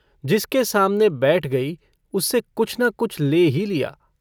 जिसके सामने बैठ गई, उससे कुछ न कुछ ले ही लिया।